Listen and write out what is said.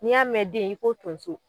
N'i y'a mɛn den i ko tonso.